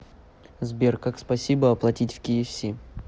сбер как спасибо оплатить в кфс